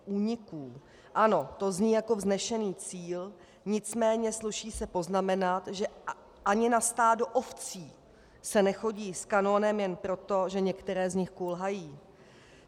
Ano, to zní jako vznešený cíl, nicméně sluší se poznamenat, že ani na stádo ovcí se nechodí s kanónem jen proto, že některé z nich kulhají.